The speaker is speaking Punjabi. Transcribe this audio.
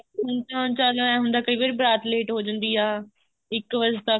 ਕਾਰਜ ਦਾ ਏਵੇਂ ਹੁੰਦਾ ਕਈ ਵਾਰੀ ਬਾਰਾਤ late ਹੋ ਜਾਂਦੀ ਆ ਇੱਕ ਵਜੇ ਤੱਕ